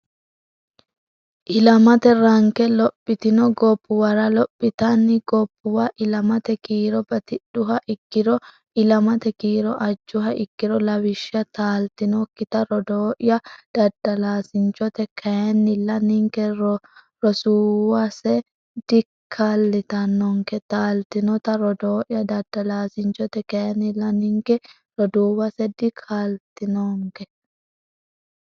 Ilamate Ranke Lophitino gobbuwara Lophitanni gobbuwa Ilamate kiiro batidhuha ikkiro Ilamate kiiro ajjuha ikkiro Lawishsha Taaltinokkita rodooya daddalaasinchote kayinnilla ninke rosuuwase dikalitannonke Taaltinota Rodoo ya daddalaasinchote kayinnilla ninke roduuwase dikaa litannonke.